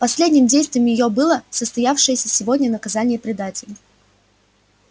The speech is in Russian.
последним действием её было состоявшееся сегодня наказание предателей